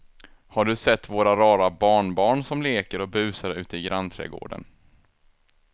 Har du sett våra rara barnbarn som leker och busar ute i grannträdgården!